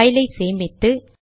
பைலை சேமித்து